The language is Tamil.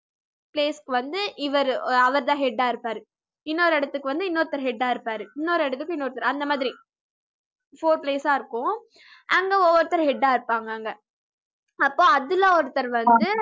place க்கு வந்து இவரு அவருதான் head ஆ இருப்பாரு இன்னொரு இடத்துக்கு வந்து இன்னொருத்தர் head ஆ இருப்பாரு இன்னொரு இடத்துக்கு இன்னொருத்தர் அந்த மாதிரி four place ஆ இருக்கும் அங்க ஒவ்வொருத்தர் head ஆ இருப்பாங்க அங்க அப்போ அதுல ஒருத்தர் வந்து